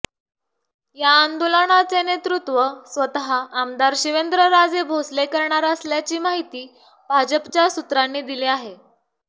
या आंदोलनाचे नेतृत्व स्वतः आमदार शिवेंद्रराजे भोसले करणार असल्याची माहिती भाजपच्या सूत्रांनी दिली आहे